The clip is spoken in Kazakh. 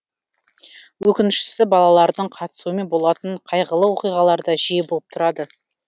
өкініштісі балалардың қатысуымен болатын қайғылы оқиғалар да жиі болып тұрады